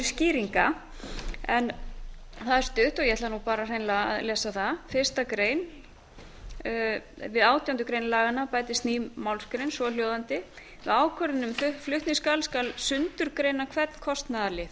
skýringa það er stutt og ég ætla nú bara hreinlega að lesa það fyrsta grein við átjándu grein laganna bætist ný málsgrein svohljóðandi við ákvörðun um flutning skal sundurgreina hvern kostnaðarlið